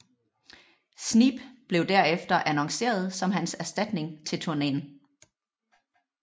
Sneap blev derefter annonceret som hans erstatning til turneen